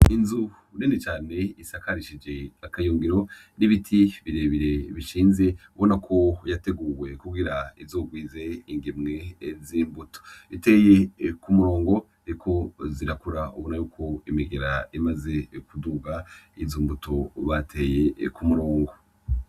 Inzu nini cane cane isakarishije akayungiro n'ibiti birebire bishinze ubona ko yateguwe kugira izorwize ingemwe z'imbuto iteye ku murongo ziriko zirakura ubona yuko imigera imaze kuduga yizo mbuto bateye ku murongo.